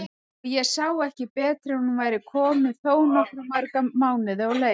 Og ég sá ekki betur en hún væri komin þó nokkuð marga mánuði á leið!